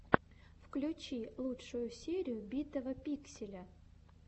включи лучшую серию битого пикселя